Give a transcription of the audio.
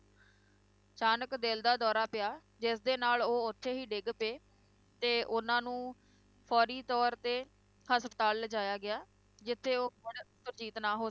ਅਚਾਨਕ ਦਿਲ ਦਾ ਦੌਰਾ ਪਿਆ, ਜਿਸਦੇ ਨਾਲ ਉਹ ਉਥੇ ਹੀ ਡਿੱਗ ਪਏ ਅਤੇ ਉਹਨਾਂ ਨੂੰ ਫ਼ੌਰੀ ਤੌਰ ਤੇ ਹਸਪਤਾਲ ਲਿਜਾਇਆ ਗਿਆ, ਜਿੱਥੇ ਉਹ ਮੁੜ ਸੁਰਜੀਤ ਨਾ ਹੋ,